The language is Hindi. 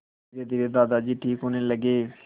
धीरेधीरे दादाजी ठीक होने लगे